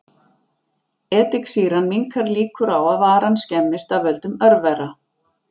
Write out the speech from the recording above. Ediksýran minnkar líkur á að varan skemmist af völdum örvera.